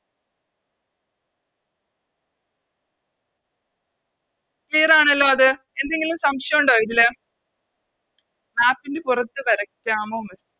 Clear ആണല്ലോ അത് എന്തെങ്കിലും സംശയോണ്ടോ ഇതില് Map ൻറെ പുറത്ത് വരക്കാമോ Miss